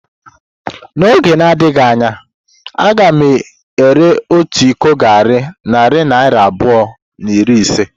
N’oge na-adịghị anya, a ga-ere otu iko garri narị naira abụọ na iri ise.